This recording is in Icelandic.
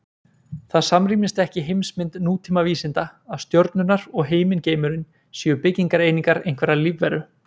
Það samrýmist ekki heimsmynd nútíma vísinda að stjörnurnar og himingeimurinn séu byggingareiningar einhverrar lífveru.